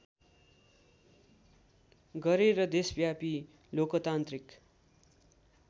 गरेर देशव्यापी लोकतान्त्रिक